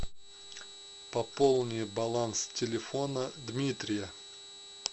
пополни баланс телефона дмитрия